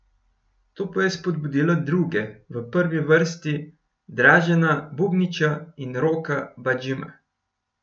To pa je spodbudilo druge, v prvi vrsti Dražena Bubniča in Roka Badžima.